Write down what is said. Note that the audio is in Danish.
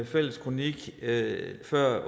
fælles kronik lige før